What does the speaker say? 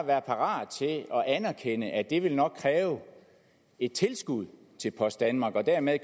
være parat til at anerkende at det nok vil kræve et tilskud til post danmark og dermed